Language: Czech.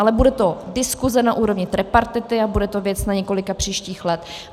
Ale bude to diskuse na úrovni tripartity a bude to věc na několik příštích let.